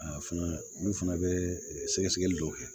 A fana olu fana bɛ sɛgɛsɛgɛli dɔw kɛ